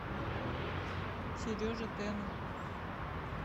сереже тену